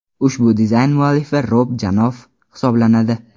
Ushbu dizayn muallifi Rob Janoff hisoblanadi.